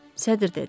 Sədr dedi.